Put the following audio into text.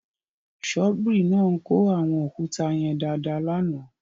Ṣọ́bìrì náà kó àwọn òkúta yẹn dáadáa lánàá.